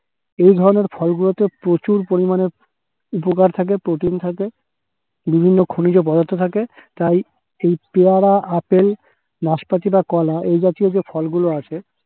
এইধরনের ফলগুলোতে প্রচুর পরিমাণে উপকার থাকে, protein থাকে। বিভিন্ন খনিজ পদার্থ থাকে, তাই এই পেয়ারা, আপেল নাসপাতি বা কলা এই জাতীয় যে ফলগুলো আছে